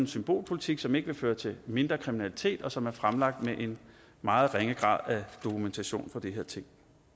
symbolpolitik som ikke vil føre til mindre kriminalitet og som er fremlagt med en meget ringe grad af dokumentation for de her ting